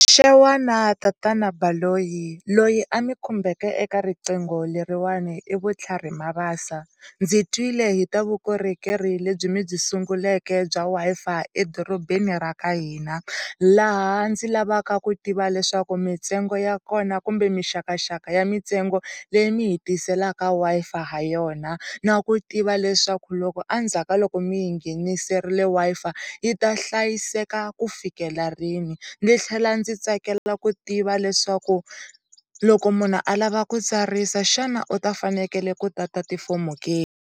Xewani tatana Baloyi, loyi a mi khumbeke eka riqingho leriwana i Vutlhari Mabasa ndzi twile hi ta vukorhokeri lebyi mi byi sunguleke bya Wi-Fi edorobeni ra ka hina laha ndzi lavaka ku tiva leswaku mitsengo ya kona kumbe mixakaxaka ya mintsengo leyi mihitiselaka Wi-Fi ha yona na ku lava ku tiva leswaku loko endzhaku ka loko mihi ngheniserile Wi-Fi yita hlayiseka ku fikela rini ni tlhela ndzi tsakela ku tiva leswaku loko munhu alava ku tsarisa xana u ta fanekele ku tata tifomo ke?